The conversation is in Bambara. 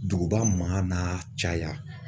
Duguba man n'a caya.